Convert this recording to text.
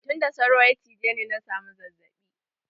Tunda sauro ya cije ni na samu zazzaɓin sauro.